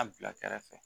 A bila kɛrɛfɛ